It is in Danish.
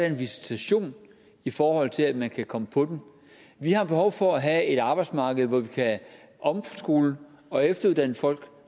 en visitation i forhold til at man kan komme på dem vi har behov for at have et arbejdsmarked hvor vi kan omskole og efteruddanne folk